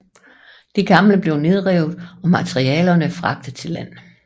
Det gamle blev nedrevet og materialerne fragtet til land